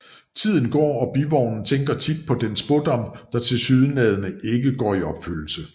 Tiden går og Bivognen tænker tit på den spådom der tilsyneladende ikke går i opfyldelse